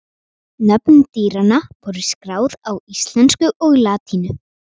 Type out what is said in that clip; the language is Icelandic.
Nöfn dýranna voru skráð á íslensku og latínu.